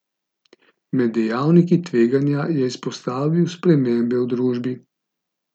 Med dejavniki tveganja je izpostavil spremembe v družbi.